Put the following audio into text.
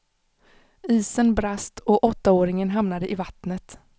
Isen brast och åttaåringen hamnade i vattnet.